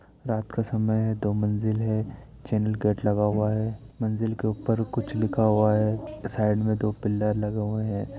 रात का समय है दो मंजिल है चॅनेलगेट लगा हुआ है मंजिल के ऊपर कुछ लिखा हुआ है साइड में दो पिलर लगे हुए है।